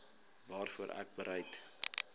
waarvoor ek bereid